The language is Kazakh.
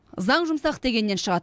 заң жұмсақ дегеннен шығады